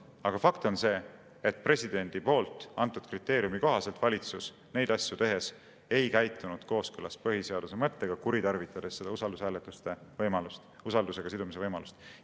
Aga fakt on see, et presidendi antud kriteeriumi kohaselt valitsus neid asju tehes ei käitunud kooskõlas põhiseaduse mõttega, kuritarvitades usaldushääletusega sidumise võimalust.